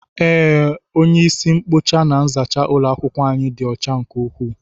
Ee, onye isi nkpocha na nzacha ulo akwukwo anyị ịdị ọcha nke ukwuu.